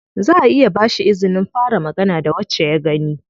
Zaʼa iya ba shi izinin fara magana da wacce ya gani.